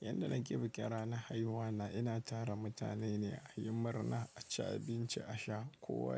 Yanda nake bikin rana haihuwa na, ina tara mutane ne a yi murna, a ci abinci, a sha kowa.